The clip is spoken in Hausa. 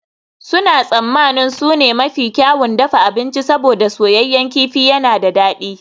Suna tsammanin su ne mafi kyawun dafa abinci saboda soyayyen kifi yana da dadi